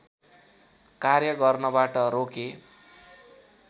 कार्य गर्नबाट रोके